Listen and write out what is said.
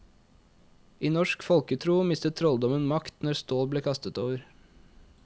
I norsk folketro mistet trolldommen makt når stål ble kastet over.